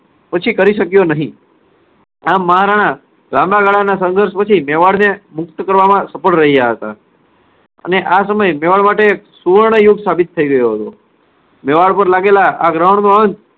પછી કરી શક્યો નહિ. આમ મહારાણા લાંબા ગાળાના સંઘર્ષ પછી મેવાડને મુક્ત કરવામાં સફળ રહ્યા હતા. અને આ સમય મેવાડ માટે સુવર્ણયુક્ત સાબિત થઇ રહ્યો હતો. મેવાડ પર લાગેલા